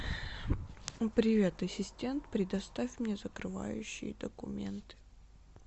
привет ассистент предоставь мне закрывающие документы